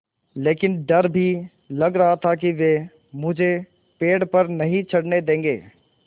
लेकिन डर भी लग रहा था कि वे मुझे पेड़ पर नहीं चढ़ने देंगे